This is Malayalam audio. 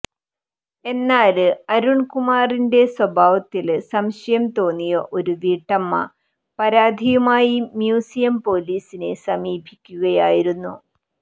എന്നാല് അരുണ്കുമാറിന്റെ സ്വഭാവത്തില് സംശയം തോന്നിയ ഒരു വീട്ടമ്മ പരാതിയുമായി മ്യൂസിയം പൊലീസിനെ സമീപിക്കുകയായിരുന്നു